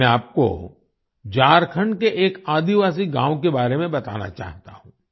अब मैं आपको झारखंड के एक आदिवासी गांव के बारे में बताना चाहता हूँ